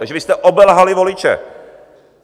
Takže vy jste obelhali voliče.